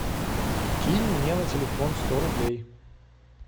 кинь мне на телефон сто рублей